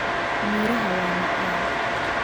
Miraha waa macaan